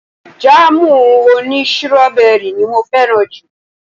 Jáàmù òní sírọ́bẹrì ni mo fẹ́ràn jù